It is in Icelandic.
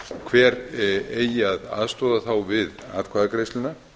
hver eigi að aðstoða þá við atkvæðagreiðsluna